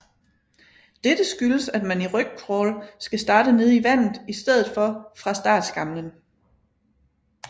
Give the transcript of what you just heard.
Dette skyldes at man i rygcrawl skal starte nede i vandet i stedet for fra startskamlen